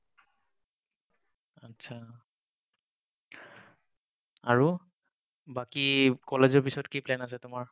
আচ্ছা আৰু বাকী কলেজৰ পাছত কি plan আছে তোমাৰ?